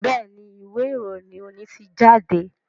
Béèni Ìwé-ìròyìn òní tí jáde.